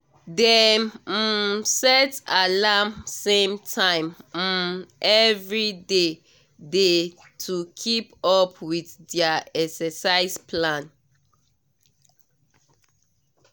dem um set alarm same time um every day day to keep up with their exercise plan